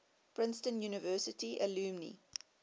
princeton university alumni